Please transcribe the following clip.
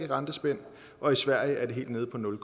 rentespænd og i sverige er det helt nede på nul